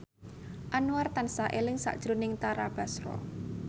Anwar tansah eling sakjroning Tara Basro